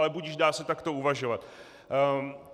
Ale budiž, dá se takto uvažovat.